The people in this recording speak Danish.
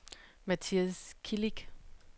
Mathias Kilic